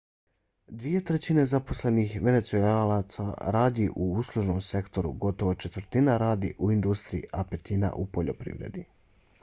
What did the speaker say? dvije trećine zaposlenih venecuelaca radi u uslužnom sektoru gotovo četvrtina radi u industriji a petina u poljoprivredi